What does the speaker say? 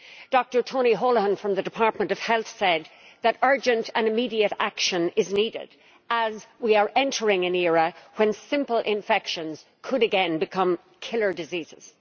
Dr Tony Holohan from the Department of Health has said that urgent and immediate action is needed, as we are entering an era when simple infections could again become killer diseases.